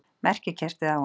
Merkikertið á honum!